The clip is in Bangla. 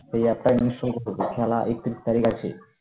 তবে একটা জিনিস খেলা একত্রিশ তারিখ আছে